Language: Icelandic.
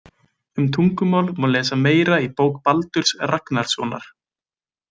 Um tungumál má lesa meira í bók Baldurs Ragnarssonar.